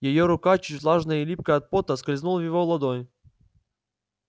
её рука чуть влажная и липкая от пота скользнула в его ладонь